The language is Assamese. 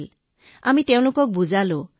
গতিকে আমি তেওঁলোকক বুজালো যে ভয় একো নহয়